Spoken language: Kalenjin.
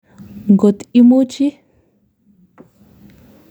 Ngot ii muchi.